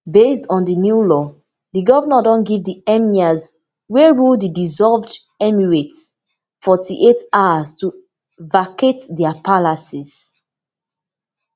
based on di new law di govnor don give di emirs wey rule di dissolved emirates forty-eight hours to vacate dia palaces